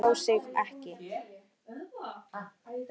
Þau kusu að tjá sig ekki